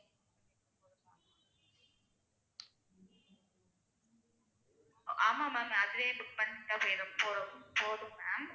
ஆமாம் ma'am அதுவே book பண்ணிட்டா போதும் போதும் ma'am.